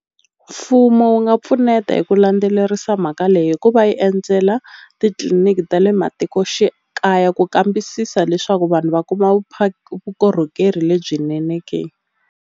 Mfumo wu nga pfuneta hi ku landzelerisa mhaka leyi hikuva yi endzela titliliniki ta le matikoxikaya ku kambisisa leswaku vanhu va kuma vukorhokeri lebyinene ke.